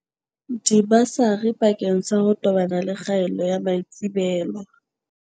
Dibasari bakeng sa ho tobana le kgaello ya maitsebelo